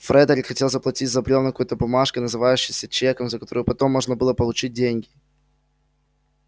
фредерик хотел заплатить за брёвна какой-то бумажкой называющейся чеком за которую потом можно было получить деньги